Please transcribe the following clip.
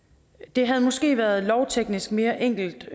det havde måske været lovteknisk mere enkelt